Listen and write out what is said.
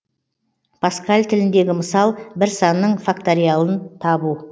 паскаль тіліндегі мысал бір санның факториалын табу